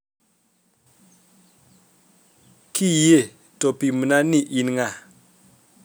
Kiyie to pimna ni in ng'a